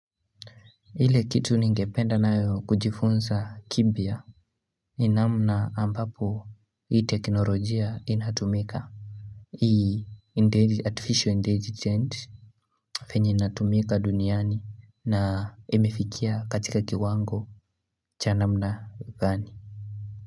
Ile kitu ningependa nayo kujifunza kipya ni namna ambapo hii teknolojia inatumika hii artificial intelligence penye inatumika duniani na imefikia katika kiwango cha namna gani.